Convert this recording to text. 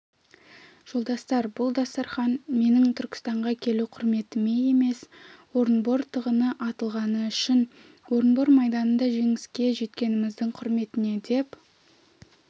жолдастар бұл дастарқан менің түркістанға келу құрметіме емес орынбор тығыны атылғаны үшін орынбор майданында жеңіске жеткеніміздің құрметіне деп